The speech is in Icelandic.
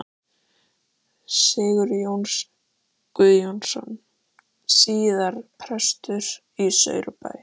Strákarnir ætluðu að rifna úr kátínu.